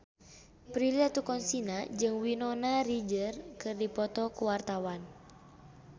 Prilly Latuconsina jeung Winona Ryder keur dipoto ku wartawan